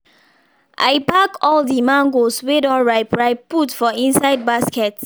i pack all the mangoes wey don ripe ripe put for inside basket